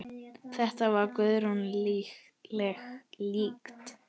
Þetta var Guðríði líkt.